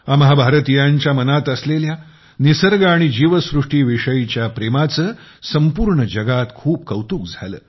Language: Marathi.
आम्हां भारतीयांच्या मनात असलेल्या निसर्ग आणि जीवसृष्टी विषयीच्या प्रेमाचे संपूर्ण जगात खूप कौतुक झाले